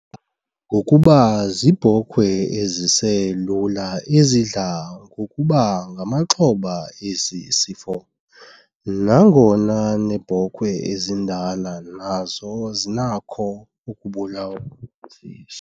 ngokuba ziibhokhwe eziselula ezidla ngokuba ngamaxhoba esi sifo nangona neebhokhwe ezindala nazo zinakho ukubulawa siso.